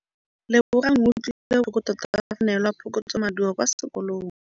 Lebogang o utlwile botlhoko tota fa a neelwa phokotsômaduô kwa sekolong.